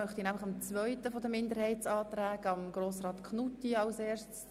Ich gebe somit dem zweiten Grossrat, der einen Minderheitsantrag vorstellt, das Wort.